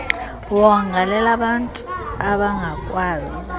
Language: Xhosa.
wonga lelabantu abangakwazi